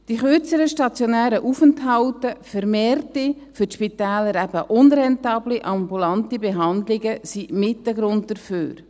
Die kürzeren stationären Aufenthalte, vermehrte, für die Spitäler eben unrentable, ambulante Behandlungen, sind mit ein Grund dafür.